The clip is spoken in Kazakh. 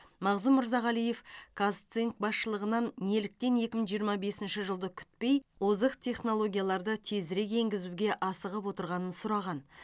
мағзұм мырзағалиев казцинк басшылығынан неліктен екі мың жиырма бесінші жылды күтпей озық технологияларды тезірек енгізуге асығып отырғанын сұраған